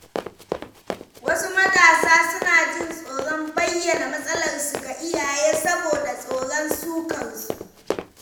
Wasu matasa suna jin tsoron bayyana matsalarsu ga iyaye saboda tsoron sukar su.